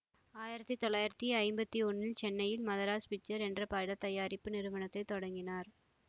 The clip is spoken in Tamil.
ஆயிரத்தி தொள்ளாயிரத்தி ஐம்பத்தி ஒன்னில் சென்னையில் மதராஸ் பிக்சர்ஸ் என்ற பட தயாரிப்பு நிறுவனத்தை தொடங்கினார்